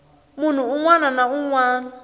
munhu un wana na un